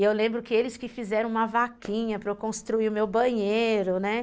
E eu lembro que eles que fizeram uma vaquinha para eu construir o meu banheiro, né?